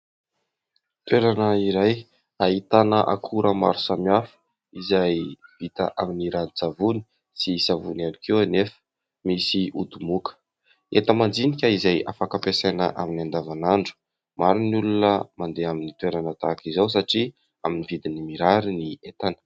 Toerana iray ahitana akora maro samihafa, izay vita amin'ny ranon-tsavony, sy savony ihany koa anefa. Misy ody moka, entana madinika izay afaka ampiasaina amin'ny andavanandro. Maro ny olona mandeha amin'ny toerana tahaka izao, satria amin'ny vidiny mirary ny entana.